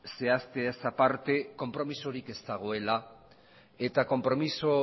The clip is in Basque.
zehazteaz aparte konpromezurik ez dagoela eta konpromezu